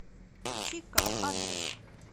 чико адрес